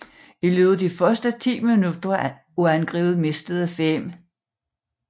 I løbet af de første 10 minutter af angrebet mistede 5